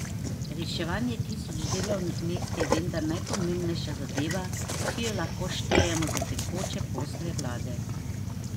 Reševanje tisoč delovnih mest je vendar najpomembnejša zadeva, ki jo lahko štejemo za tekoče posle vlade.